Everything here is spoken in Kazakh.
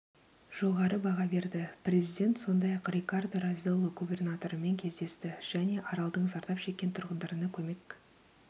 жоғары баға берді президент сондай-ақ рикардо розелло губернаторымен кездесті және аралдың зардап шеккен тұрғындарына көмек